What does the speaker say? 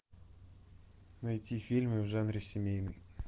найти фильмы в жанре семейный